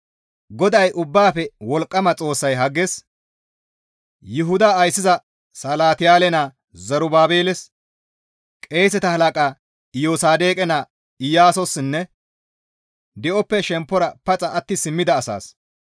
GODAY Ubbaafe Wolqqama Xoossay Hagges, «Yuhuda ayssiza Salatiyaale naa Zerubaabeles, qeeseta halaqa Iyosaadoqe naa Iyaasossinne di7oppe shemppora paxa atti simmida asaas,